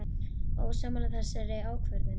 Ósammála þessari ákvörðun?